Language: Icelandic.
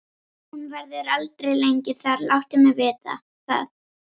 Hún verður aldrei lengi þar, láttu mig vita það.